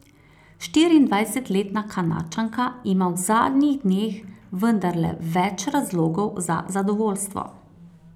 Štiriindvajsetletna Kanadčanka ima v zadnjih dneh vendarle več razlogov za zadovoljstvo.